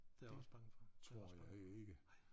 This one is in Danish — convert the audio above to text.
Det tror jeg ikke